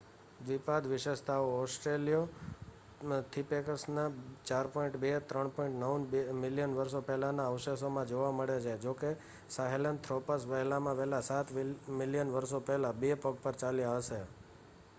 દ્વિપાદ વિશેષતાઓ ઑસ્ટ્રેલિયોપીથેકસના 4.2-3.9 મિલિયન વર્ષો પહેલાના અવશેષોમાં જોવા મળે છે જોકે સાહેલનથ્રોપસ વહેલામાં વહેલા સાત મિલિયન વર્ષો પહેલા બે પગ પર ચાલ્યા હશે